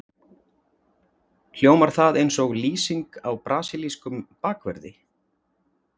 Hljómar það eins og lýsing á brasilískum bakverði?